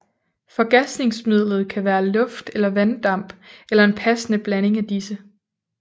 Forgasningsmidlet kan være luft eller vanddamp eller en passende blanding af disse